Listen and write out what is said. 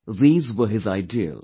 These were his ideals